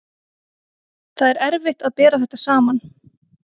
Það er erfitt að bera þetta saman.